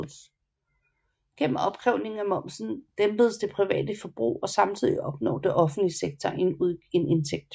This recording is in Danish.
Gennem opkrævningen af momsen dæmpes det private forbrug og samtidig opnår den offentlige sektor en indtægt